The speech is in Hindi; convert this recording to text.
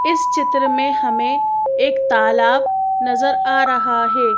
इस चित्र में हमें एक तालाब नजर आ रहा है।